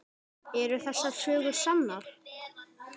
Eru þessar sögur sannar?